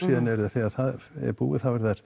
þegar það er búið